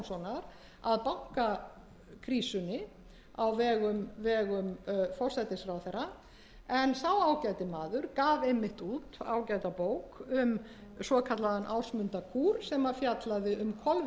fyrrverandi ríkissáttasemjara ásmundar stefánssonar að bankakrísunni á vegum forsætisráðherra en sá ágæti maður gaf einmitt út ágæta bók um svokallaðan ásmundarkúr sem fjallaði um